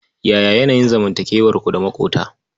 Yaya yanayin zanmantakewarku da maƙota?